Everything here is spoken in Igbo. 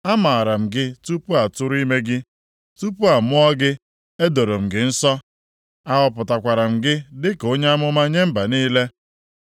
“Amaara m gị tupu a tụrụ ime gị, tupu a mụọ gị, edoro m gị nsọ, ahọpụtakwara m gị dịka onye amụma nye mba niile.”